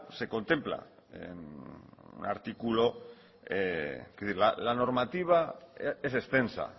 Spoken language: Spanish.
se contempla en un artículo es decir la normativa es extensa